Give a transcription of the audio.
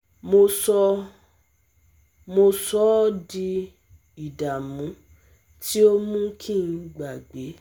mo sọ ọ́ mo sọ ọ́ di ìdààmú tí ó mú kí n gbàgbé